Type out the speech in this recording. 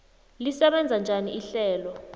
lisebenza njani ihlelo